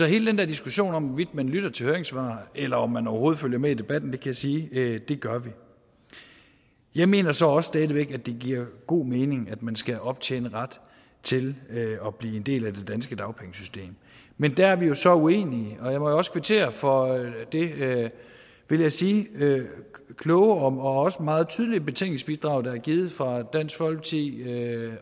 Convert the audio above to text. hele den der diskussion om hvorvidt man lytter til høringssvar eller om man overhovedet følger med i debatten kan jeg sige at det gør vi jeg mener så også stadig væk at det giver god mening at man skal optjene ret til at blive en del af det danske dagpengesystem men der er vi jo så uenige jeg må jo også kvittere for det vil jeg sige kloge og også meget tydelige betænkningsbidrag der er givet fra dansk folkeparti